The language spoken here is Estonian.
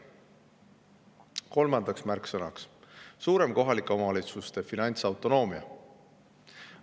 Kolmas märksõna on kohalike omavalitsuste suurem finantsautonoomia.